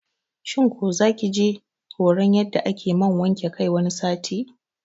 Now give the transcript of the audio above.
shin ku zakije horan yadda ake man wanke kai wani sati?